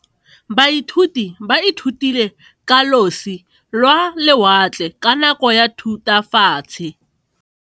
Baithuti ba ithutile ka losi lwa lewatle ka nako ya Thutafatshe.